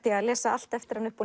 ég að lesa allt eftir hana upp á